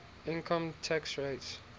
income tax rates